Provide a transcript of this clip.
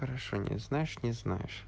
хорошо не знаешь не знаешь